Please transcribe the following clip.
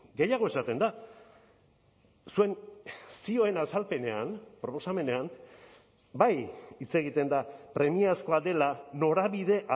gehiago esaten da zuen zioen azalpenean proposamenean bai hitz egiten da premiazkoa dela norabide